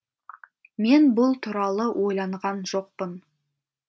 мен бұл туралы ойланған жоқпын